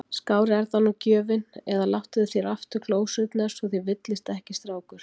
Skárri er það nú gjöfin! eða Látið þér aftur glósurnar svo þér villist ekki, strákur.